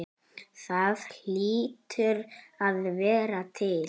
Það hlýtur að vera til?